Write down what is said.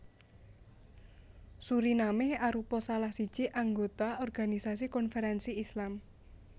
Suriname arupa salah siji anggota Organisasi Konferensi Islam